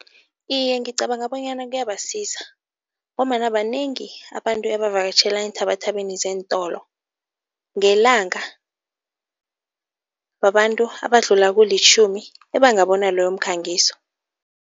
Iye ngicabanga bonyana kuyabasiza ngombana banengi abantu ebavakatjhela eenthabathabeni zeentolo, ngelanga, babantu abadlula kulitjhumi ebangabona loyo mkhangiso.